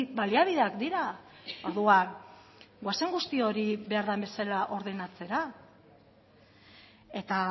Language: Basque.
baliabideak dira orduan goazen guzti hori behar den bezala ordenatzera eta